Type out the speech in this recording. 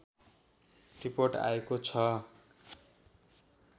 report आएको छ